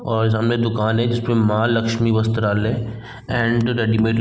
और सामने एक दुकान है जिस पर महालक्ष्मी वस्त्रालय एंड रेडीमेड --